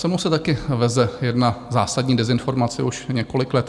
Se mnou se taky veze jedna zásadní dezinformace už několik let.